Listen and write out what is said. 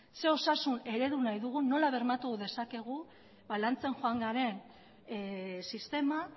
zein osasun eredu nahi dugu nola bermatu dezakegu lantzen joan garen sistema